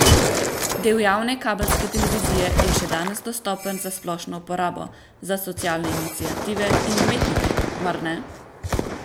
Del javne kabelske televizije je še danes dostopen za splošno uporabo, za socialne iniciative in umetnike, mar ne?